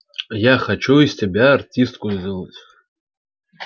я хочу из тебя артистку сделать